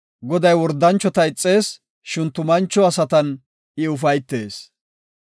Goday wordanchota ixees; shin tumancho asatan I ufaytees.